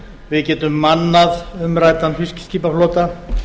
við getum mannað umræddan fiskiskipaflota